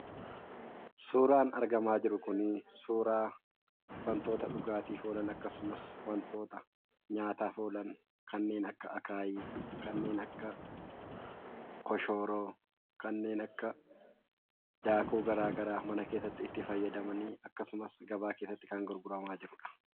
Suuraan argamaa jiru kunii suuraa wantoota dhugaatiif oolan akkasumas wantoota nyaataaf oolan kanneen akka akaayii, kanneen akka koshooroo, kanneen akka daakuu garaa garaa mana keessatti itti fayyadamanii akkasumas gabaa keessatti kan gurguramaa jirudha.